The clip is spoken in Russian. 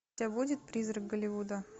у тебя будет призрак голливуда